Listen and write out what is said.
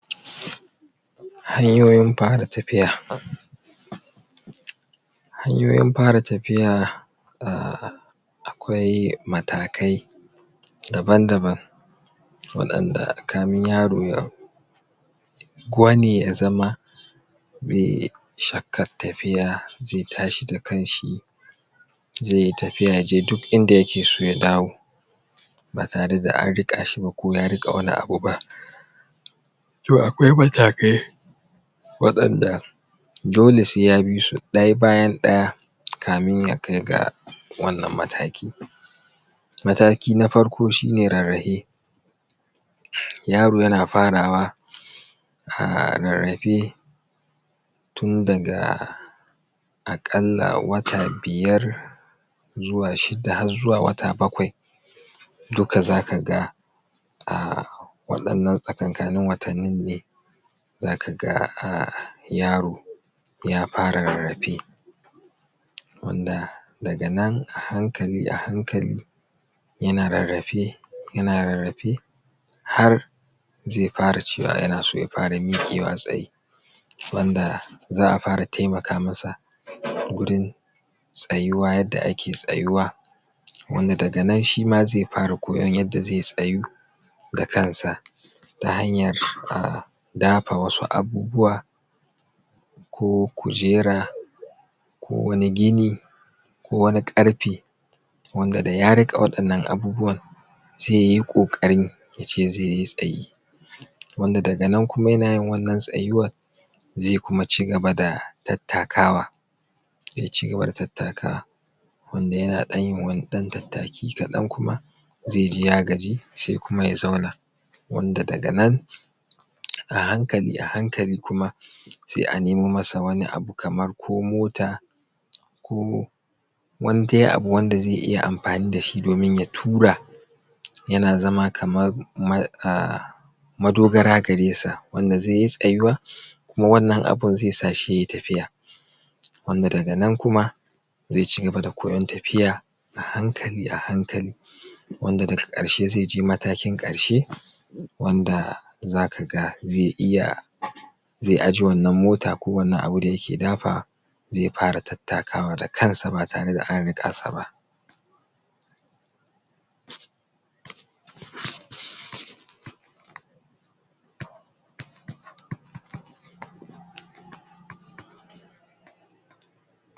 Hanyoyin fara tafiya hanyoyin fara tafiya uhm akwai matakai daban-daban waɗanda kamin yaro ya gwane ya zama yai shakkar tafiya zai tashi da kanshi zai itafiya ya je duk inda ya ke so ya dawo ba tare da an riƙashi ba ko yariƙe wani abu ba to akwai matakai waɗanda dole sai ya bisu ɗaya bayan ɗaya kamin ya kai ga wannan mataki ɗin mataki na farko shi ne rarrahe yaro yana farwa uhm rarrahe tun daga aƙalla wata biyar zuwa shida har zuwa wata bakwai duka zaka ga uhm waɗannan tsakankanin watannin ne zaka ga uhm yaro ya fara rarrafe wanda daga nan a hankali a hankali yana rarrafe yana rarrafe har zai fara cewa yana so ya fara miƙewa tsaye wanda za'a fara taimaka masa gurin tsayuwa yanda ake tsayuwa wanda daga nan shima zai fara koyan yanda zai tsayu da kansa ta hanyar uhm dafa wasu abubuwa ko kujera ko wani gini ko wani ƙarfe wanda da ya riƙe wa'innan abubuwan zaiyi ƙoƙarin ya ce zai yi tsaye wanda daga nan kuma yana yin wannan tsayuwar zai kuma cigaba da tattakawa zai cigaba da tattakawa wanda yana ɗan yin ɗan wani tataki kaɗan kuma zai ji ya gaji sai kuma a zauna wanda daga nan a hankali a hankali kuma sai a nemo masa wani abu kamar ko mota ko wani dai abu wanda zai yi amfani da shi domin ya tura yana zama kamar ma uhm madogara garesa wanda zai yi tsayuwa kuma wannan abun zai sa shi yayi tafiya wanda daga nan kuma zai cigaba da koyon tafiya a hankali a hankali wanda daga ƙarshe zai je matakin ƙarshe wanda zaka ga zai iya zai aje wannan mota ko wannan abu da yake dafawa zai fara tattakwa da kansa ba tare da an riƙasa ba